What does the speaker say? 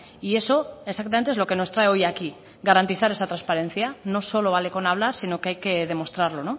y eso exactamente es lo que nos trae hoy aquí garantizar esa transparencia no solo vale con hablar sino que hay que demostrarlo